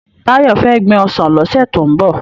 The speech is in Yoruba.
Tayo fè gbin òsán lòsè tó n bò